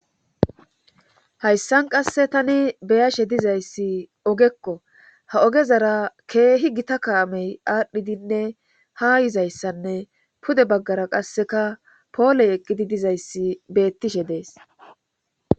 hayssan qasse tani be'ashe dizayssi ogekko ha ogezara keehi gita kaamey aadhdhidinne ha yizayssanne pude baggara qasseka pooley eqqidi dizayssi beettishe dees